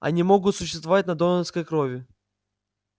они могут существовать на донорской крови